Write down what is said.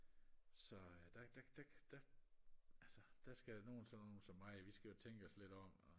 så der der der der altså der skal nogle sådan nogle som mig vi skal jo tænke os lidt om og